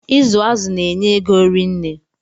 Ịzụ azụ na-enye ego rinne